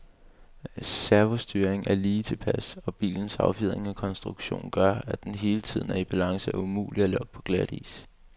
Servostyringen er lige tilpas, og bilens affjedring og konstruktion gør, at den hele tiden er i balance og umulig at lokke på glatis.